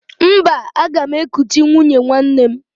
Mba, aga m ekuchi nwunye nwanne m